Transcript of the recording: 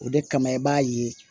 O de kama i b'a ye